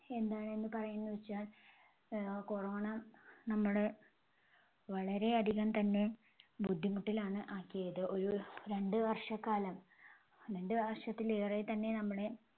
എന്താണ് പറയുന്നതെന്നുവെച്ചാൽ ആഹ് corona നമ്മുടെ വളരെ അധികം തന്നെ ബുദ്ധിമുട്ടിലാണ് ആക്കിയത്. ഒരു രണ്ട് വർഷക്കാലം രണ്ട് വർഷത്തിലേറെ തന്നെ നമ്മളെ